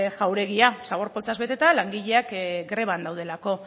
jauregia zabor poltsaz beteta langileak greban daudelako